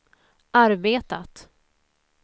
arbetat